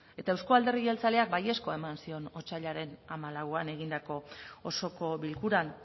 ekarri zuen eta euzko alderdi jeltzaleak baiezkoa eman zion otsailaren hamalauan egindako osoko bilkuran